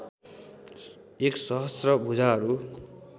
एक सहस्र भुजाहरू